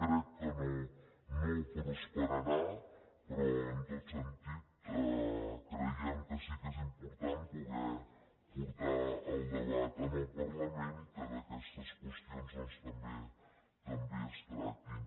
crec que no prosperarà però en tot sentit creiem que sí que és important poder portar el debat al parlament i que aquests qüestions també es tractin